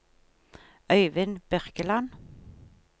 Øivind Birkeland